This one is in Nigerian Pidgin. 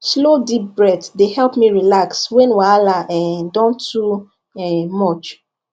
slow deep breath dey help me relax when wahala um don too um much